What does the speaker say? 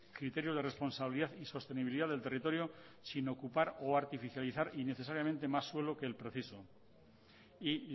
criterio de responsabilidad y sostenibilidad del territorio sin ocupar o artificializar innecesariamente más suelo que el preciso y